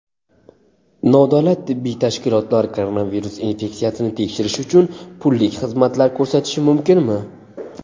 Nodavlat tibbiy tashkilotlar koronavirus infeksiyasini tekshirish uchun pullik xizmatlar ko‘rsatishi mumkinmi?.